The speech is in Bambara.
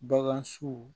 Bagan su